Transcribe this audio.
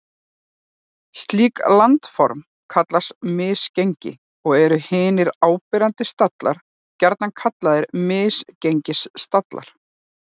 Slík landform kallast misgengi og eru hinir áberandi stallar gjarnan kallaðir misgengisstallar.